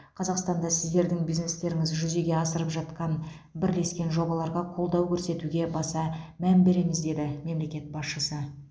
қазақстанда сіздердің бизнестеріңіз жүзеге асырып жатқан бірлескен жобаларға қолдау көрсетуге баса мән береміз деді мемлекет басшысы